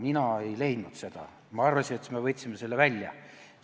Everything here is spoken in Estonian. Mina seda siit ei leidnud, ma arvasin, et me võtsime selle välja.